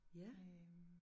Ja